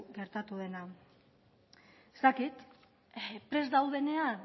gertatu dena ez dakit prest daudenean